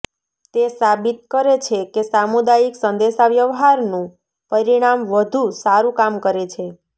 તે સાબિત કરે છે કે સામુદાયિક સંદેશાવ્યવહારનું પરિણામ વધુ સારું કામ કરે છે